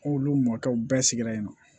Ko olu mɔkɛw bɛɛ sigira yen nɔ